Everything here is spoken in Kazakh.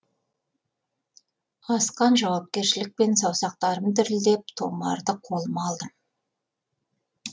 асқан жауапкершілікпен саусақтарым дірілдеп тұмарды қолыма алдым